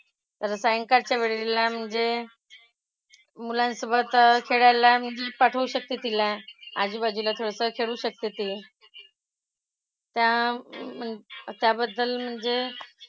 तर सायंकाळच्या वेळेला मुझे मुलांसोबत खेळायला मी पाठवू शकते तिला. आजूबाजूला थोडंसं खेळू शकते ती. त्या म्हण त्याबद्दल म्हणजे,